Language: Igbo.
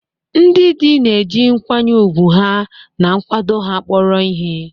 Ndị di na-eji nkwanye ùgwù ha na nkwado ha kpọrọ ihe.